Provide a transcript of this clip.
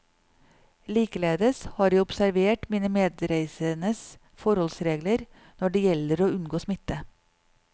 Likeledes har jeg observert mine medreisendes forholdsregler når det gjelder å unngå smitte.